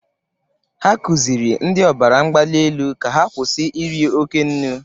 Ha kụzịrị ndị ọrịa ọbara mgbali elu ka ha kwụsị iri oke nnụ.